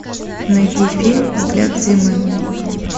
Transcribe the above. найди фильм взгляд зимы